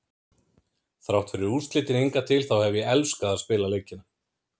Þrátt fyrir úrslitin hingað til þá hef ég elskað að spila leikina.